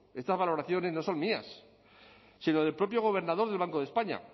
estas valoraciones no son mías sino del propio gobernador del banco de españa